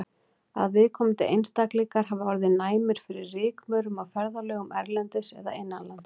Að viðkomandi einstaklingar hafi orðið næmir fyrir rykmaurum á ferðalögum erlendis eða innanlands.